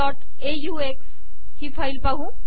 ox ही file पाहू